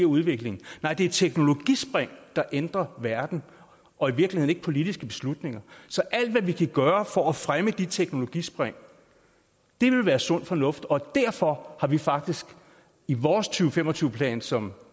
udvikling nej det er teknologispring der ændrer verden og i virkeligheden ikke politiske beslutninger så alt vi kan gøre for at fremme de teknologispring vil være sund fornuft derfor har vi faktisk i vores to tusind og fem og tyve plan som